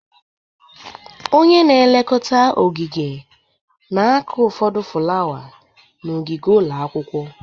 Onye na elekota ogige na-akụ ụfọdụ fulawa n'ogige ụlọ akwụkwọ.